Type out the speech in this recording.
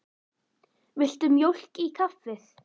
Viltu mjólk í kaffið?